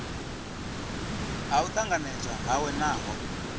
ha u tanganedzwa hawe naho